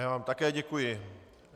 Já vám také děkuji.